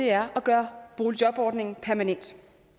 er at gøre boligjobordningen permanent